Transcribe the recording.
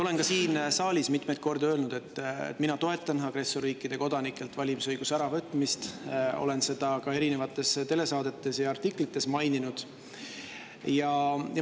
Olen siin saalis mitmeid kordi öelnud, et mina toetan agressorriikide kodanikelt valimisõiguse äravõtmist, olen seda ka erinevates telesaadetes ja artiklites maininud.